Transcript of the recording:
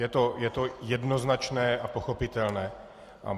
Je to jednoznačné a pochopitelné.